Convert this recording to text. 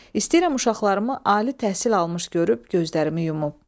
İstəyirəm uşaqlarımı ali təhsil almış görüb gözlərimi yumum.